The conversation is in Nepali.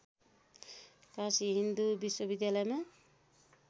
काशी हिन्दू विश्वविद्यालयमा